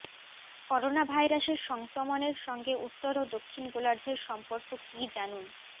corona ভাইরাসের সংক্রমণের সঙ্গে উত্তর ও দক্ষিণ গোলার্ধের সম্পর্ক কি জানুন